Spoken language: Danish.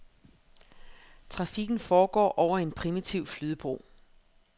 Trafikken foregår over en primitiv flydebro.